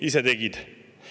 Ise tegid!